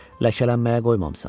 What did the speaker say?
Ləkələnməyə qoymamısan.